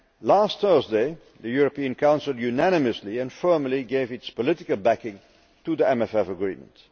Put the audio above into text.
Last Thursday, the European Council unanimously and firmly gave its political backing to the MFF agreement.